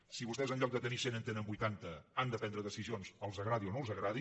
si vostès en lloc de tenir cent en tenen vuitanta han de prendre decisions els agradi o no els agradi